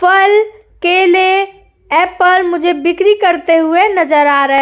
फल केले एप्पल मुझे बिक्री करते हुए नजर आ रहे --